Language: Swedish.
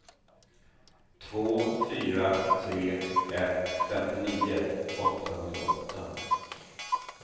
två fyra tre ett femtionio åttahundraåtta